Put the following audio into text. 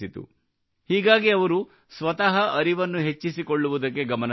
ಹೀಗಾಗಿ ಅವರು ಸ್ವತಃ ಅರಿವನ್ನು ಹೆಚ್ಚಿಸಿಕೊಳ್ಳುವುದಕ್ಕೆ ಗಮನ ಹರಿಸಿದರು